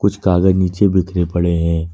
कुछ कागज नीचे बिखरे पड़े हैं।